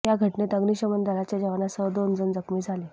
या घटनेत अग्निशमन दलाच्या जवानासह दोन जण जखमी झाले